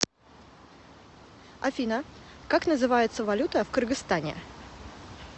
афина как называется валюта в кыргызстане